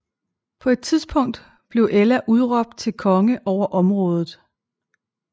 På et tidspunkt blev Ælla udråbt til konge over området